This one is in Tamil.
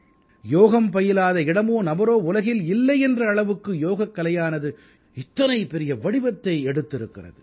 யோகம் பயிலாத இடமோ நபரோ உலகில் இல்லை என்ற அளவுக்கு யோகக்கலையானது இத்தனை பெரிய வடிவத்தை எடுத்திருக்கிறது